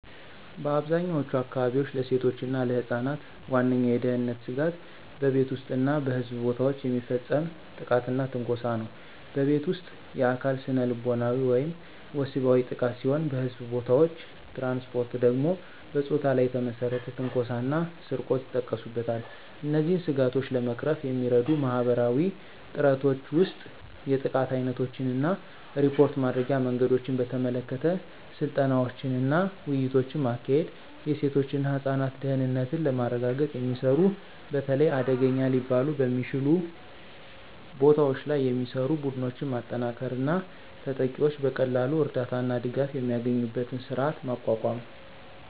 በአብዛኛዎቹ አካባቢዎች፣ ለሴቶች እና ለህፃናት ዋነኛው የደህንነት ስጋት በቤት ውስጥ እና በሕዝብ ቦታዎች የሚፈጸም ጥቃትና ትንኮሳ ነው። በቤት ውስጥ: የአካል፣ ስነልቦናዊ ወይም ወሲባዊ ጥቃት ሲሆን በሕዝብ ቦታዎች/ትራንስፖርት ደግሞ በፆታ ላይ የተመሰረተ ትንኮሳ እና ስርቆት ይጠቀሱበታል። እነዚህን ስጋቶች ለመቅረፍ የሚረዱ ማህበረሰባዊ ጥረቶች ውስጥ የጥቃት ዓይነቶችን እና ሪፖርት ማድረጊያ መንገዶችን በተመለከተ ስልጠናዎችንና ውይይቶችን ማካሄድ፤ የሴቶች እና ህፃናት ደህንነትን ለማረጋገጥ የሚሰሩ፣ በተለይ አደገኛ ሊባሉ በሚችሉ ቦታዎች ላይ የሚሰሩ፣ ቡድኖችን ማጠናከር እና ተጠቂዎች በቀላሉ እርዳታ እና ድጋፍ የሚያገኙበትን ስርዓት ማቋቋም።